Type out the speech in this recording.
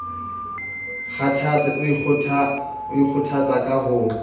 kgathatse o ikgothatsa ka ho